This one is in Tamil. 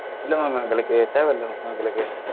இல்ல madam எங்களுக்கு தேவையில்லை madam எங்களுக்கு